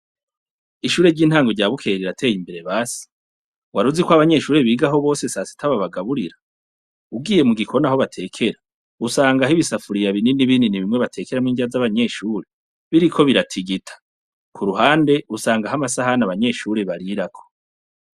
Ishure ry'intango rya Bukeye rirateye imbere basi! Waruzi ko abanyeshure bose bigaho sasita babagaburira? Ugiye mu gikoni aho batekera, usangaho ibisafuriya binini binini bimwe batekeramwo indya z'abanyeshure biriko biratigita. Ku ruhande, usangaho amasahani abanyeshure barirako.